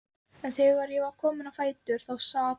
En þegar ég var komin á fætur þá sat